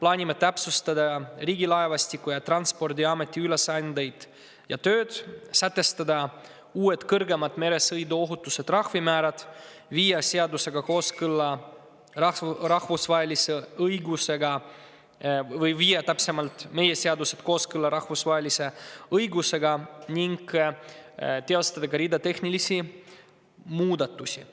plaanime täpsustada Riigilaevastiku ja Transpordiameti ülesandeid ja tööd, sätestada uued kõrgemad meresõiduohutusega seotud trahvimäärad, viia meie seadused kooskõlla rahvusvahelise õigusega ning teha ka hulk tehnilisi muudatusi.